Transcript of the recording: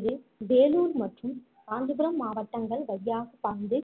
இது வேலூர் மற்றும் காஞ்சிபுரம் மாவட்டங்கள் வழியாக பாய்ந்து